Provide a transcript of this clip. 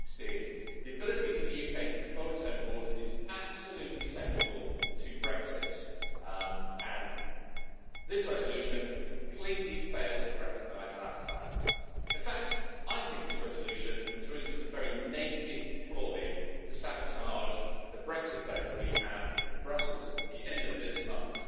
2016. The ability for the UK to control its own borders is absolutely central to Brexit, and this resolution completely fails to recognise that fact. In fact, this resolution is really just a very naked ploy to sabotage the Brexit vote that we have in Brussels at the end of this month,